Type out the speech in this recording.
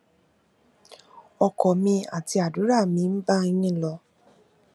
ọkàn mi àti àdúrà mi ń bá yín lọ